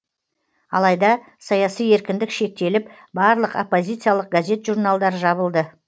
алайда саяси еркіндік шектеліп барлық оппозициялық газет журналдар жабылды